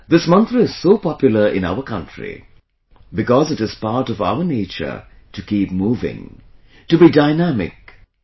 This mantra is so popular in our country because it is part of our nature to keep moving, to be dynamic; to keep moving